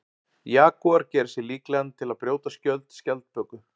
Jagúar gerir sig líklegan til að brjóta skjöld skjaldböku.